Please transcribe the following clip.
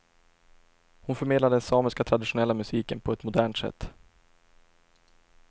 Hon förmedlar den samiska traditionella musiken på ett modernt sätt.